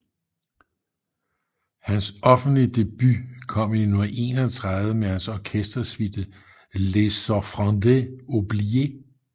Hans offentlige debut kom i 1931 med hans orkestersuite Les offrandes oubliées